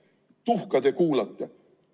Tuhkagi te kuulate.